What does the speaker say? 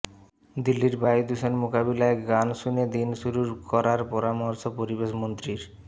দিল্লির বায়ু দূষণ মোকাবিলায় গান শুনে দিন শুরু করার পরামর্শ পরিবেশমন্ত্রীর